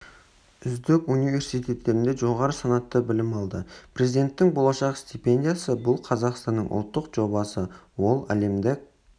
үздік университеттерінде жоғары санатты білім алды президенттік болашақ стипендиясы бұл қазақстанның ұлттық жобасы ол әлемдік